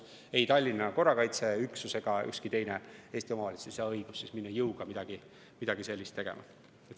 Ei Tallinna korrakaitseüksus ega ükski teine Eesti omavalitsus ei saa õigust minna jõuga midagi sellist tegema.